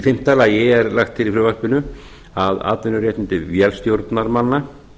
fimmta lagt er til í frumvarpinu að atvinnuréttindi vélstjórnarmanna